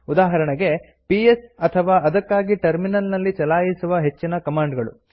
ಉದಾಹರಣೆಗೆ ಪಿಎಸ್ ಅಥವಾ ಅದಕ್ಕಾಗಿ ಟರ್ಮಿನಲ್ ನಲ್ಲಿ ಚಲಾಯಿಸುವ ಹೆಚ್ಚಿನ ಕಮಾಂಡ್ ಗಳು